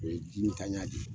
O ye jin tan ya de ye